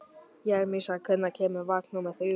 Jeremías, hvenær kemur vagn númer þrjú?